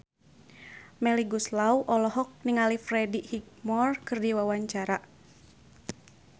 Melly Goeslaw olohok ningali Freddie Highmore keur diwawancara